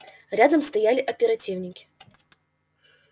рядом стояли оперативники